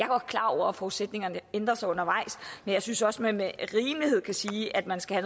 godt klar over at forudsætningerne ændrer sig undervejs men jeg synes også man med rimelighed kan sige at man skal